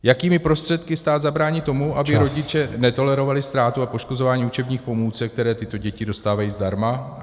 Jakými prostředky stát zabrání tomu, aby rodiče netolerovali ztrátu a poškozování učebních pomůcek, které tyto děti dostávají zdarma?